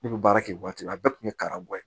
Ne bɛ baara kɛ waati la a bɛɛ tun bɛ karamɔgɔ ye